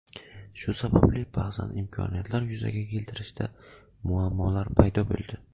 Shu sababli ba’zan imkoniyatlar yuzaga keltirishda muammolar paydo bo‘ldi.